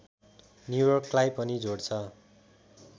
न्यूयोर्कलाई पनि जोड्छ